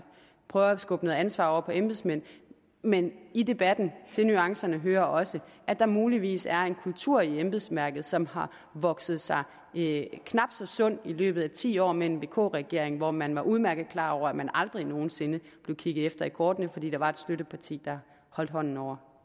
prøver at skubbe noget ansvar over på embedsmænd men i debatten og til nuancerne hører også at der muligvis er en kultur i embedsværket som har vokset sig knap så sund i løbet af ti år med en vk regering hvor man udmærket var klar over at man aldrig nogen sinde blev kigget efter i kortene fordi der var et støtteparti der holdt hånden over